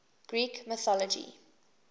greek mythology